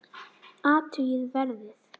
Athugið verðið.